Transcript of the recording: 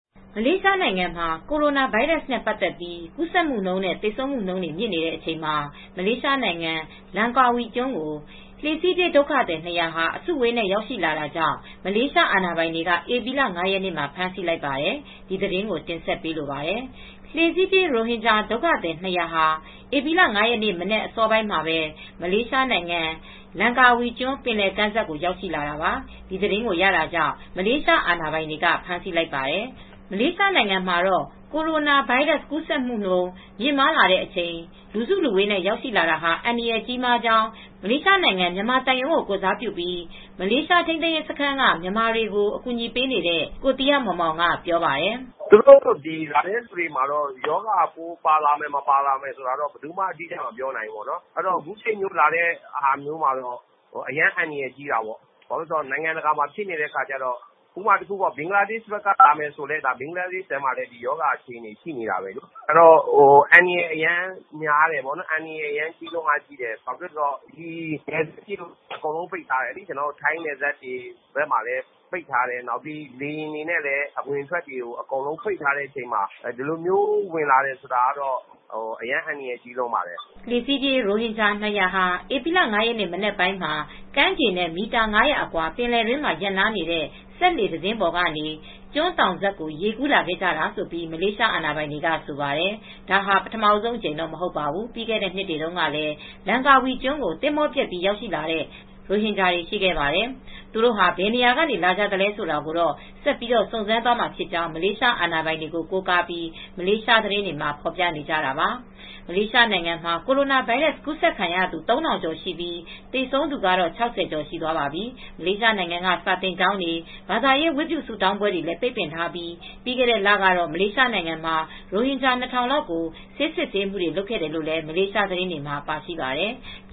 မလေးရှားနိုင်ငံမှာ ကိုရိုနာဗိုင်းရပ်စ်နဲ့ ပတ်သက်လို့ ကူးစက်မှုနှုန်းနဲ့ သေဆုံးမှုနှုန်းတွေ မြင့်နေတဲ့အချိန်မှာ မလေးရှားနိုင်ငံ လမ်ကာဝီကျွန်းကို လှေစီးပြေး ဒုက္ခသည် ၂၀၀ အစုအဝေးနဲ့ ရောက်ရှိလာတာကြောင့် မလေးရှားအာဏာပိုင်တွေက ဧပြီလ ၅ ရက်နေ့မှာ ဖမ်းဆီးလိုက်ပါတယ်။ အပြည့်အစုံကို ထိုင်းအခြေစိုက် ဗွီအိုအေမြန်မာပိုင်း သတင်းထောက် မအေးအေးမာ တင်ဆက်ထားပါတယ်။ လှေစီးပြေး ရိုဟင်ဂျာဒုက္ခသည် ၂၀၀ ဟာ ဧပြီလ ၅ ရက်နေ့မနက် အစောပိုင်းမှာပဲ မလေးရှားနိုင်ငံ လမ်ကာဝီကျွန်း ပင်လယ်ကမ်းစပ်ကို ရောက်ရှိလာတာပါ။ ဒီသတင်းကိုရတာကြောင့် မလေးရှား အာဏာပိုင်တွေက ဖမ်းဆီးလိုက်ပါတယ်။ မလေးရှားနိုင်ငံမှာ ကိုရိုနာဗိုင်းရပ်စ် ဖြစ်ပွားမှုနှုန်း မြင့်လာတဲ့ ဒီလိုအချိန်မှာ လူစုလူဝေးနဲ့ ရောက်လာတာဟာ အန္တရာယ်ကြီးမားကြောင်း မလေးရှားနိုင်ငံဆိုင်ရာ မြန်မာသံရုံးကို ကိုယ်စားပြုပြီး မလေးရှား ထိန်းသိမ်းရေးစခန်းက မြန်မာတွေကို အကူညီပေးနေတဲ့ ကိုသီဟမောင်မောင်က ပြောပါတယ်။ “သူတို့လာတဲ့သူတွေမှာတော့ ရောဂါပိုးပါလာမယ်၊ မပါလာဘူးဆိုတာ ဘယ်သူမှတော့ အတိအကျ မပြောနိုင်ပါဘူး။ အခုချိန်မှာ လာတာဆိုတော့ အရမ်း အန္တရာယ်ကြီးလွန်းတယ်။ ဥပမာ ဘင်္ဂလားဒေ့ရှ်ဘက်က လာမယ်ဆိုလည်း ဘင်္ဂလားဒေ့ရှ်မှာလည်း ရောဂါဖြစ်နေတာပဲ။ အဲဒီတော့ အန္တရာယ်ကြီးလွန်းတယ်။ နယ်စပ်တွေလည်း အကုန်ပိတ်ထားတယ်။ ထိုင်းနယ်စပ်တွေမှာလည်း ပိတ်တယ်။ လေယာဉ်လိုင်းတွေလည်း ပိတ်ထားချိန်မှာ အခုလို ဝင်လာတာတော့ အန္တရာယ်ကြီးပါတယ်။” လှေစီးပြေး ရိုဟင်ဂျာ၂၀၀ ဟာ ဧပြီ ၅ ရက် မနက်ပိုင်းမှာ ကမ်းခြေနဲ့ မီတာ ၅၀၀ အကွာ ပင်လယ်တွင်း ရပ်နားနေတဲ့ စက်လှေတစင်းပေါ်ကနေ ကျွန်းသောင်စပ်ကို ရေကူးလာခဲ့တာလို့ မလေးရှားအာဏာပိုင်တွေက ဆိုပါတယ်။ ဒါဟာ ပထမဦးဆုံးအကြိမ်တော့ မဟုတ်ပါဘူး။ ပြီးခဲ့တဲ့ နှစ်တွေတုန်းကလည်း လမ်ကာဝီကျွန်းကို သင်္ဘောပျက်ပြီး ရောက်ရှိလာတဲ့ ရိုဟင်ဂျာတွေ ရှိခဲ့ပါတယ်။ သူတို့ဟာ ဘယ်နေရာက လာကြသလဲ ဆိုတာကိုတော့ ဆက်ပြီး စုံစမ်းသွားမှာဖြစ်ကြောင်း မလေးရှားအာဏာပိုင်တွေကို ကိုးကားပြီး မလေးရှားသတင်းတွေမှာ ဖော်ပြနေကြတာပါ။ မလေးရှားနိုင်ငံမှာ ကိုရိုနာဗိုင်းရပ်စ် ကူးစက်ခံရသူ ၃၀၀၀ ကျော်ရှိပြီး သေဆုံးသူကတော့ ၆၀ ကျော် ရှိသွားပါပြီ။ မလေးရှားနိုင်ငံက စာသင်ကျောင်းတွေ၊ ဘာသာရေး ဝတ်ပြုဆုတောင်းပွဲတွေလည်း ပိတ်ပင်ထားပြီး ပြီးခဲ့တဲ့လကတော့ မလေးရှားနိုင်ငံမှာ ရိုဟင်ဂျာ ၂၀၀၀ လောက်ကိုလည်း ဆေးစစ်ဆေးမှု လုပ်ခဲ့တယ်လို့ မလေးသတင်းတွေမှာ ပါရှိပါတယ်။